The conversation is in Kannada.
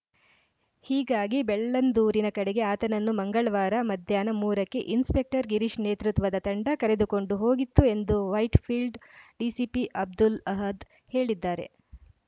ಹೀಗಾಗಿ ಬೆಳ್ಳಂದೂರಿನ ಕಡೆಗೆ ಆತನನ್ನು ಮಂಗಳ್ವಾರ ಮಧ್ಯಾಹ್ನ ಮೂರ ಕ್ಕೆ ಇನ್ಸ್‌ಪೆಕ್ಟರ್‌ ಗಿರೀಶ್‌ ನೇತೃತ್ವದ ತಂಡ ಕರೆದುಕೊಂಡು ಹೋಗಿತ್ತು ಎಂದು ವೈಟ್‌ಫೀಲ್ಡ್‌ ಡಿಸಿಪಿ ಅಬ್ದುಲ್‌ ಅಹದ್‌ ಹೇಳಿದ್ದಾರೆ